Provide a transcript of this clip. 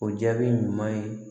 O jaabi ɲuman ye